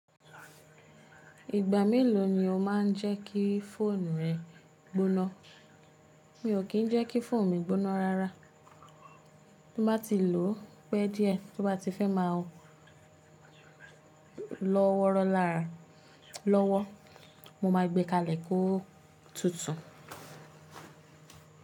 Ìgbà mélòó ni o máa ń jẹ́ kí fóònù rẹ gbóná? Mi ò kí ń jẹ́ kí fóònù mi gbóná rara. Bí mo bá ti lòó pẹ́ díẹ̀, tó bá ti fẹ́ máa lọ wọ́rọ́ lára lọ́wọ́, mo ma gbé kalẹ̀ kó tutù.